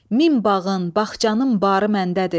Min bağın, bağçanın barı məndədir.